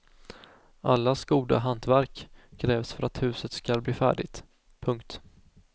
Allas goda hantverk krävs för att huset ska bli färdigt. punkt